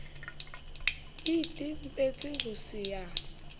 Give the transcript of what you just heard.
e itebetse ho se ya